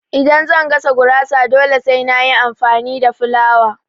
Idan zan gasa gurasa dole sai na yi amfani da fulawa